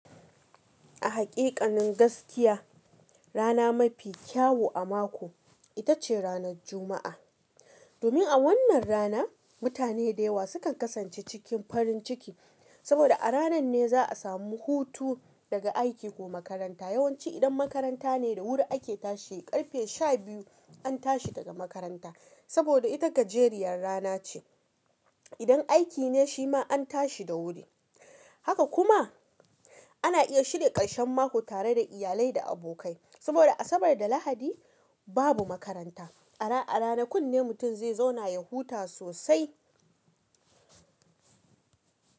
A haƙiƙanin gaskiya, rana mafi kyawu a mako ita ce ranar Juma'a. Domin a wannan rana mutane da yawa sukan kasance cikin farin ciki, saboda a ranan ne za a samu hutu daga aiki ko makaranta. Yawanci idan makaranta ne da wuri ake tashi ƙarfe sha biyu an tashi daga makaranta, saboda ita gajeriyar rana ce. Idan aiki ne shi ma an tashi da wuri. Haka kuma ana iya shirya ƙarshen mako tare da iyalai da abokai. Saboda Asabar da Lahadi babu makaranta. Ara a ranakun ne mutum zai zauna ya huta sosai.